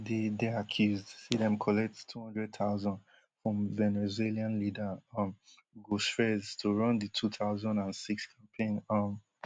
dey dey accused say dem collect two hundred thousand from venezuelan leader um hugo chvez to run di two thousand and six campaign um